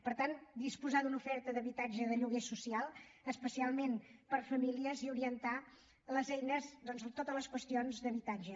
per tant disposar d’una oferta d’habitatge de lloguer social especialment per a famílies i orientar les eines doncs a totes les qüestions d’habitatge